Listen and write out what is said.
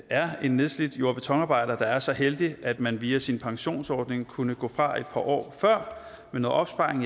er en nedslidt jord og betonarbejder der er så heldig at man via sin pensionsordning kunne gå fra et par år før med noget opsparing